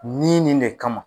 Ni nin de kama.